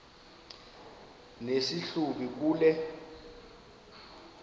nesi hlubi kule